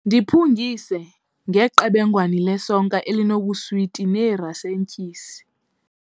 Ndiphungise ngeqebengwane lesonka elinobuswiti neerasentyisi.